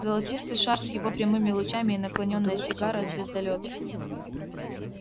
золотистый шар с его прямыми лучами и наклонённая сигара звездолёта